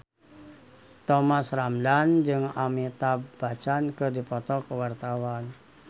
Thomas Ramdhan jeung Amitabh Bachchan keur dipoto ku wartawan